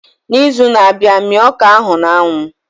N'izu na-abịa mia ọka ahu na anwu